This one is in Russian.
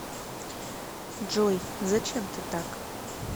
джой зачем ты так